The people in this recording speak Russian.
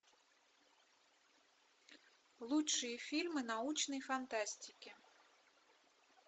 лучшие фильмы научной фантастики